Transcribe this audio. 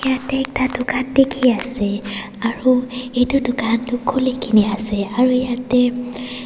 Yatheh ekta dukhan dekhe ase aro etu dukhan tuh khulikena ase aro yatheh--